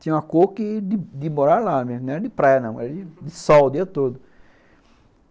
Tinha uma cor de morar lá mesmo, não era de praia não, era de sol o dia todo.